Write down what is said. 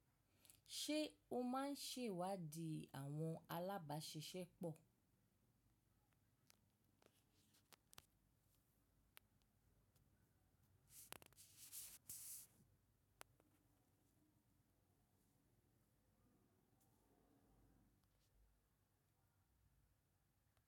Ṣé o máa ń ṣèwádìí àwọn alábàáṣiṣẹ́ pọ̀?